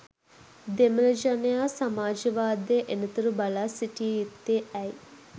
දෙමළ ජනයා සමාජවාදය එනතුරු බලා සිටිය යුත්තේ ඇයි?